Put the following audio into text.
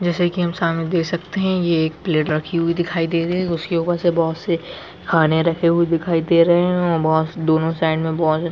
जैसे की हम सामने देख सकते है एक पेलेट रखी हुई दिखाई दे रही है उसके ऊपर से बहुत सी खाना रखी हुई दिखाई दे रही है और बोस दोनों साइड में बहुतज्यादा --